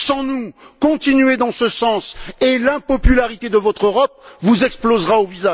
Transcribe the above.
Sans nous, continuez dans ce sens, et l'impopularité de votre Europe vous explosera au